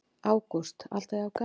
Ágúst: Alltaf jafn gaman?